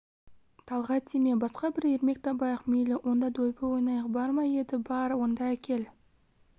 талғат тиме басқа бір ермек табайық мейлі онда дойбы ойнайық бар ма еді бар онда әкел